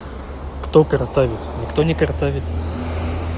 кто картавит никто не картавит